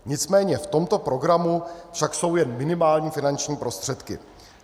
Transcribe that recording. Nicméně v tomto programu však jsou jen minimální finanční prostředky.